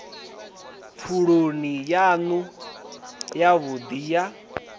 pfuloni yanu yavhudi ye na